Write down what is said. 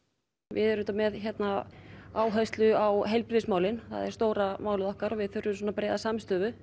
við erum með áherslu á heilbrigðismálin það er stóra málið okkar við þurfum breiða samstöðu